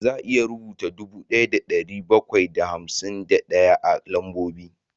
Za a iya rubuta dubu ɗaya da ɗari bakwai da hamsin ɗaya a lambobi